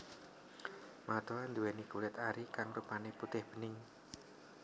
Matoa nduwéni kulit ari kang rupané putih bening